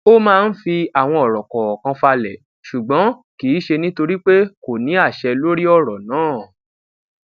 ó máa ń fi àwọn òrò kọọkan falè ṣùgbọn kì í ṣe nítorí pé kò ní àṣẹ lórí òrò náà